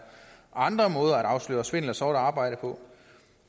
andre måder at afsløre svindel og sort arbejde på